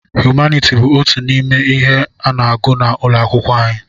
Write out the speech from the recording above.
Humaniti bụ otú n'ime ihe a n'agụ n'ụlọ akwụkwọ anyị.